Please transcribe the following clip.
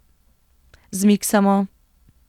Zmiksamo.